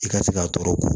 I ka se k'a tɔɔrɔ